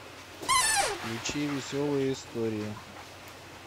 включи веселые истории